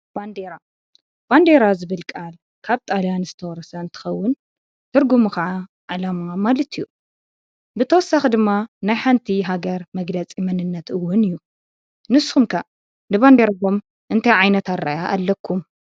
ባንዴራ ዝብል ቃል ካብ ጣልያን ዝተወረሰ እንከውን ትርጉሙ ከዓ ዓላማ ማለት እዩ ።ብተወሳኪ ድማ ናይ ሓንቲ መንነት መግለፂ እውን እዩ። ንስኩም ከ ንባዴራኩም እንታይ ዓይነት ኣረእያ ኣለኩም ?